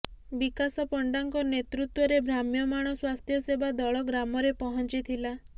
ବିକାଶ ପଣ୍ଡାଙ୍କ ନେତୃତ୍ୱରେ ଭ୍ରାମ୍ୟମାଣ ସ୍ୱାସ୍ଥ୍ୟ ସେବା ଦଳ ଗ୍ରାମରେ ପହଞ୍ଚିଥିଲା